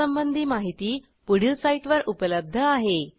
यासंबंधी माहिती पुढील साईटवर उपलब्ध आहे